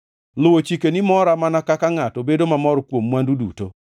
Luwo chikeni mora mana kaka ngʼato bedo mamor kuom mwandu duto.